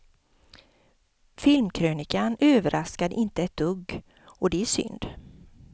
Filmkrönikan överraskade inte ett dugg och det är synd.